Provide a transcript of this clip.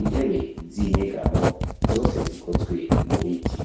intebe zinyegamo zose zikozwe mubiti.